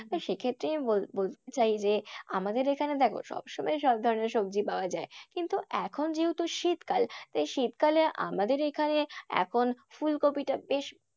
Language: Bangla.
তো সে ক্ষেত্রে আমি বলতে চাই যে আমাদের এইখানে দেখো সবসময়ই সব ধরনের সবজি পাওয়া যায়। কিন্তু এখন যেহেতু শীতকাল, তাই শীতকালে আমাদের এইখানে এখন ফুলকপিটা বেশ।